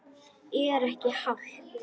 Hann: Er ekki hált?